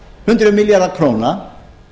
hundruð milljarða króna